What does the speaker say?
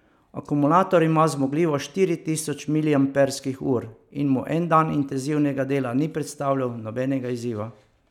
Akumulator ima zmogljivost štiri tisoč miliamperskih ur in mu en dan intenzivnega dela ni predstavljal nobenega izziva.